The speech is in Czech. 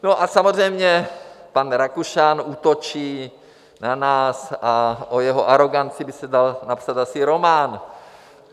No a samozřejmě pan Rakušan útočí na nás a o jeho aroganci by se dal napsat asi román.